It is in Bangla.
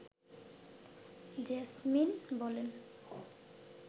জেসমিন বলেন